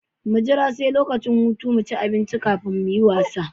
Mu jira sai lokacin hutu kafin mu ci abinci mu kuma muyi wasa.